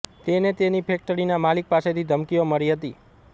તેને તેની ફેકટરીના માલિક પાસેથી ધમકીઓ મળી હતી